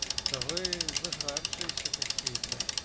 да вы зажравшиеся какие-то